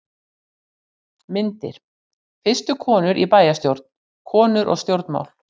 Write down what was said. Myndir: Fyrstu konur í bæjarstjórn: Konur og stjórnmál.